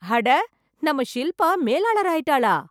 அட நம்ம ஷில்பா மேலாளர் ஆயிட்டாளா!